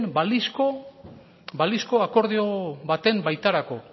balizko akordio baten baitarako